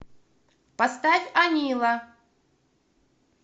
поставь анилла